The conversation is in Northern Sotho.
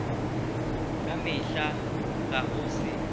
ka mehla ga go se